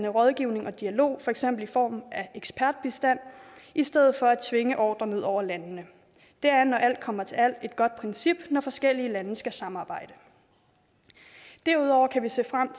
rådgivning og dialog for eksempel i form af ekspertbistand i stedet for at tvinge ordrer ned over landene det er når alt kommer til alt et godt princip når forskellige lande skal samarbejde derudover kan vi se frem